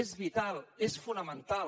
és vital és fonamental